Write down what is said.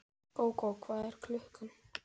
Myndum vér fagna því af alhug, ef það gæti orðið.